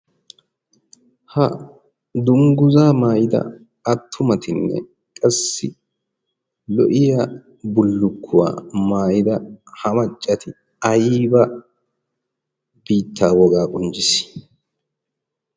Ha dungguza maayyida attumatinne qassi lo"iya bullukuwa maayyida ha maccati ayba biittaa woga qonccissii?